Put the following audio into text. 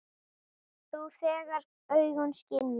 Þú, þegar augun skynja.